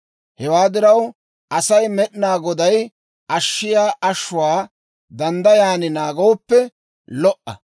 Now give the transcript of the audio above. Hewaa diraw, Asay Med'inaa Goday ashshiyaa ashshuwaa danddayan naagooppe lo"a.